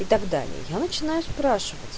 и так далее я начинаю спрашивать